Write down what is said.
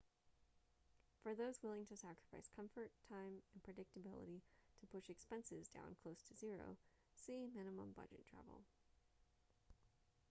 for those willing to sacrifice comfort time and predictability to push expenses down close to zero see minimum budget travel